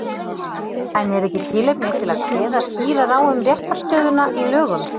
En er ekki tilefni til að kveða skýrar á um réttarstöðuna í lögum?